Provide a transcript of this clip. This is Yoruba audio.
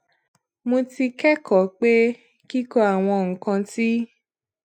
mo ti kékòó pé kíkọ àwọn nǹkan tí